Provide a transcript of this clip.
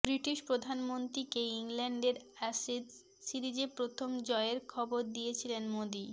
British প্রধানমন্ত্রীকে ইংল্যান্ডের Ashes সিরিজে প্রথম জয়ের খবর দিয়েছিলেন মোদী